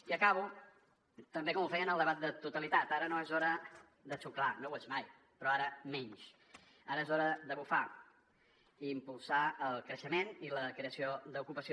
i acabo també com ho feia en el debat de totalitat ara no és hora de xuclar no ho és mai però ara menys ara és hora de bufar i impulsar el creixement i la creació d’ocupació